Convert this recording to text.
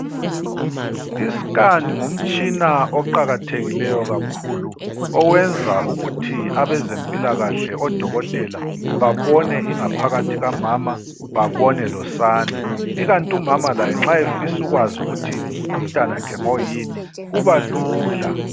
Isikhani ngumtshina oqakathekileyo kakhulu owenza ukuthi abezempilakahle odokotela babone ingaphakathi kamama babone losane ikanti umama laye nxa efisa ukwazi ukuthi umntanakhe ngoyini kuba lula.